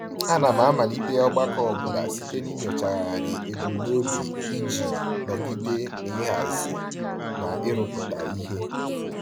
Ana m amalite ọgbakọ ọbụla site n'inyochagharị ebumnobi iji nọgide n'ịhazi na ịrụpụta ihe.